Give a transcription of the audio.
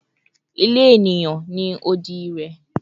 Ile eniyan ni odi rẹ